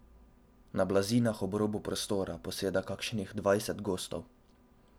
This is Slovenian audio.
Na blazinah ob robu prostora poseda kakšnih dvajset gostov.